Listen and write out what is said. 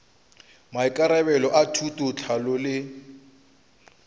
maikarabelo a thuto tlhahlo le